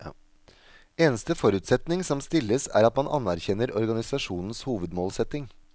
Eneste forutsetning som stilles er at man anerkjenner organisasjonens hovedmålsetning.